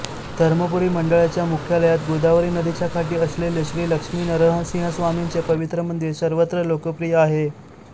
धर्मपुरी मंडळाच्या मुख्यालयात गोदावरी नदीच्या काठी असलेले श्री लक्ष्मीनरसिंहस्वामींचे पवित्र मंदिर सर्वत्र लोकप्रिय आहे